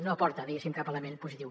no aporta diguéssim cap element positiu